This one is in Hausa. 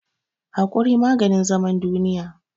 Haƙuri maganin zaman duniya